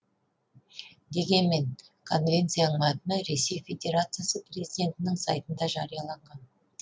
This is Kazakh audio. дегенмен конвенцияның мәтіні ресей федерациясы президентінің сайтында жарияланған